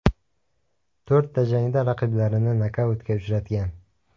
To‘rtta jangda raqiblarini nokautga uchratgan.